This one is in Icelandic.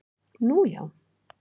Nú já?